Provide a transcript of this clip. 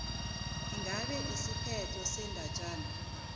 ingabe isiphetho sendatjana